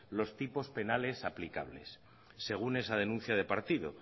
los tipos penales aplicables según esa denuncia de partido